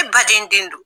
E baden den don